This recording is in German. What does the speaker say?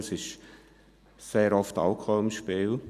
Es ist sehr oft Alkohol im Spiel.